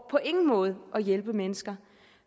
ingen måde at hjælpe mennesker